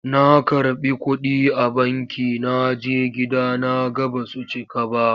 Na karɓi kuɗi a banki na je gida na ga ba su cika ba.